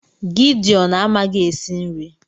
Gideon amaghị esi nri